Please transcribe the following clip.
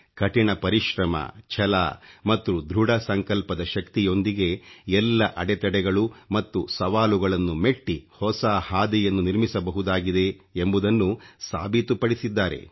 ಕಠಿಣ ಪರಿಶ್ರಮ ಛಲ ಮತ್ತು ಧೃಡ ಸಂಕಲ್ಪದ ಶಕ್ತಿಯೊಂದಿಗೆ ಎಲ್ಲ ಅಡತಡೆಗಳು ಮತ್ತು ಸವಾಲುಗಳನ್ನು ಮೆಟ್ಟಿ ಹೊಸ ಹಾದಿಯನ್ನು ನಿರ್ಮಿಸಬಹುದಾಗಿದೆ ಎಂಬುದನ್ನು ಸಾಬೀತುಪಡಿಸಿದ್ದಾರೆ